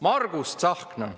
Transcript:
Margus Tsahkna!